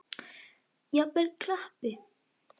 Jafnvel klappi.